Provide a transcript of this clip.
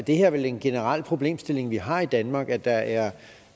det er vel en generel problemstilling vi har i danmark at der er